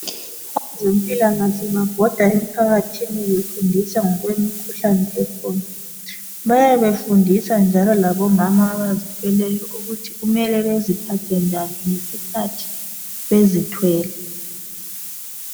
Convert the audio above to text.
Abezempilakahle babhoda emphakathini befundisa ngokwemikhuhlane ekhona. Bayabe befundisa njalo labomama abazithweleyo ukuthi mele baziphathe njani nxa bezithwele.